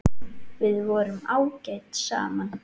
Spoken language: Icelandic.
Við vorum ágæt saman.